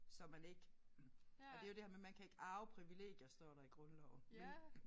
Så man ikke og det jo det her med man kan ikke arve privilegier står der i grundloven men